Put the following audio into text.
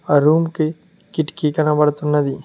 ఆ రూమ్ కి కిటికీ కనపడుతున్నది.